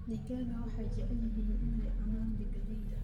Digaagga waxay jecel yihiin inay cunaan galleyda.